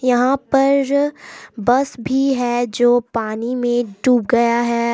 यहां पर बस भी है जो पानी में डूब गया है।